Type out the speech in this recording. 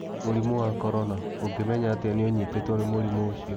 Mũrimũ wa Corona: Ũngĩmenya atĩa atĩ nĩ ũnyitĩtwo nĩ mũrimũ ũcio?